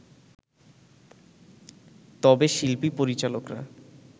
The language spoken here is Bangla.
তবে শিল্পী-পরিচালকরা